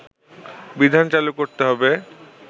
বিধান চালু করতে হবে